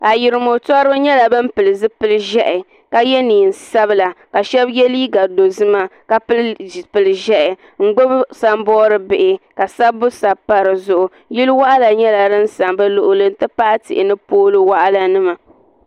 Ayirimo toriba nyɛla ban pili zipili ʒɛhi ka ye neen'sabila ka shɛba ye liiga dozima ka pili zipili ʒɛhi ŋ-gbubi saboodi bihi ka sabbu sabi pa di zuɣu yili waɣila nyɛla din za bɛ luɣili nti pahi tihi ni pooli waɣila nima.